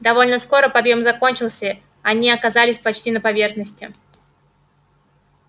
довольно скоро подъём закончился они оказались почти на поверхности